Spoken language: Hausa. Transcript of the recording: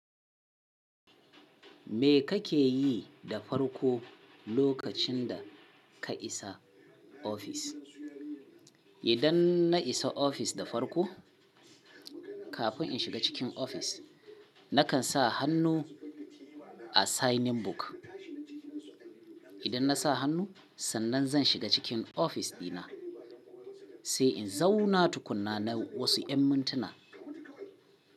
Me kake yi da farko lokacin da ka isa ofis? Idan na isa ofis da farko, kafin in shiga cikin ofis, nakan sa hannu a signing book. Idan na sa hannu, sannan zan shiga cikin ofis dina, sai in zauna tukuna na wasu ‘yan mintuna.